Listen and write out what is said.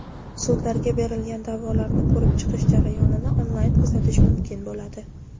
Sudlarga berilgan daʼvolarni ko‘rib chiqish jarayonini onlayn kuzatish mumkin bo‘ladi.